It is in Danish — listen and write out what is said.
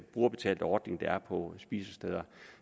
brugerbetalte ordning der er på spisesteder